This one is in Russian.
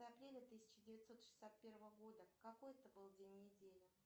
апреля тысяча девятьсот шестьдесят первого года какой это был день недели